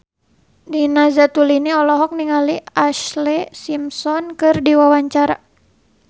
Nina Zatulini olohok ningali Ashlee Simpson keur diwawancara